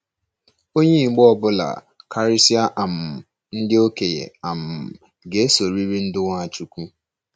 Onye Igbo ọ bụla — karịsịa um ndị okenye um — ga-esoriri ndú Nwachukwu.